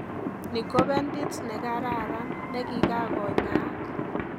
Ni ko bentit negararan negigagonyaak